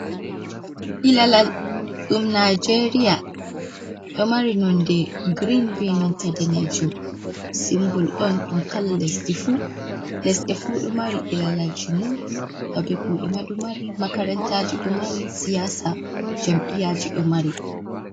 Ilalal ɗum nijeria, ɗo mari nonde grein be nanta danejum. Simbol on ɗum kala lesdi fu, lesde fu ɗo mari ilalalji mum, babe kuɗe ma ɗo mari, makarantaji ɗo mari, siyasa jamɓiyaji ɗo mari.